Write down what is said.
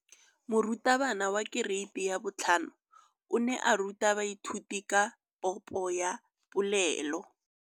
Moratabana wa kereiti ya 5 o ne a ruta baithuti ka popô ya polelô.